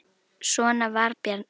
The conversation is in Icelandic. Svona var Bjarni.